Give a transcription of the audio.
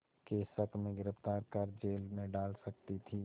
के शक में गिरफ़्तार कर जेल में डाल सकती थी